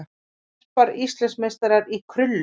Garpar Íslandsmeistarar í krullu